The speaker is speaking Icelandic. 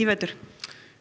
vetur